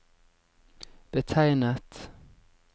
betegnet